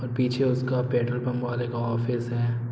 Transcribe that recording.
और पीछे उसका पेट्रोल पंप वाले का ऑफिस है।